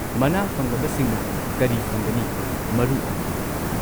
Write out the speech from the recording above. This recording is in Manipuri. ꯃꯅꯥ ꯐꯪꯂꯕꯁꯤꯡꯅ ꯀꯔꯤ ꯐꯪꯒꯅꯤ, ꯃꯔꯨ ꯑꯣꯏꯅ?